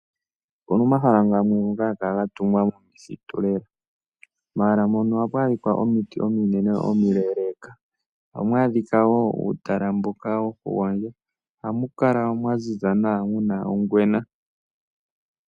Opuna omahala gamwe ngoka haga kala gatungwa momithitu lela. Momahala mono ohamu adhika omiti omileleeka. Ohamu adhika wo uutla mboka wokugondja, nohamu kala mwaziza nawa, muna ongwena.